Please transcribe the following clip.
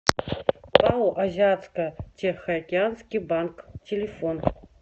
пао азиатско тихоокеанский банк телефон